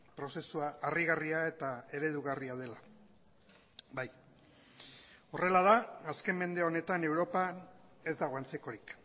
prozesua harrigarria eta eredugarria dela bai horrela da azken mende honetan europan ez dago antzekorik